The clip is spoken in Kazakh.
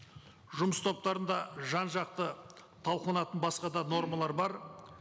жұмыс топтарында жан жақты талқыланатын басқа да нормалар бар